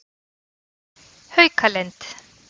Haukalind